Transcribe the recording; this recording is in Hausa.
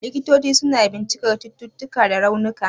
Likitoci suna bincikar cututtuka da raunuka.